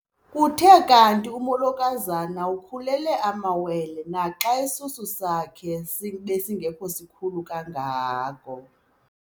Kuthe kanti umolokazana ukhulelwe amawele naxa isisu sakhe besingesikhulu kangako.